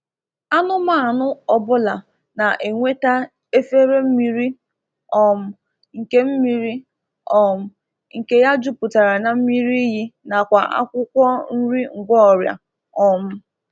Anụmanụ ọ bụla na-enweta efere mmiri um nke mmiri um nke ya jupụtara na mmiri iyi nakwa akwụkwọ nri ngwọọrịa um